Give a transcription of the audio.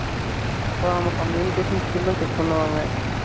ஆ நம்ம Communication Skill லும் check பண்ணுவாங்க